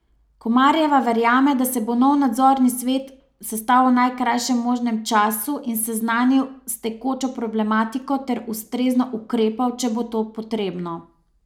Komarjeva verjame, da se bo nov nadzorni svet sestal v najkrajšem možnem času in seznanil s tekočo problematiko ter ustrezno ukrepal, če bo to potrebno.